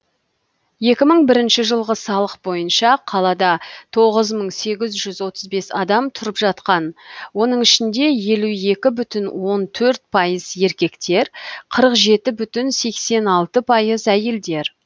екі мың бірінші жылғы салық бойынша қалада тоғыз мың сегіз жүз отыз бес адам тұрып жатқан оның ішінде елу екі бүтін он төрт пайыз еркектер қырық жеті бүтін сексен алты пайыз әйелдер